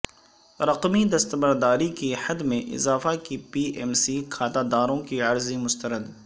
رقمی دستبرداری کی حد میں اضافہ کی پی ایم سی کھاتہ داروں کی عرضی مسترد